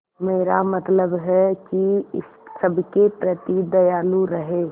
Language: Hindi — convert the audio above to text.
मेरा मतलब है कि सबके प्रति दयालु रहें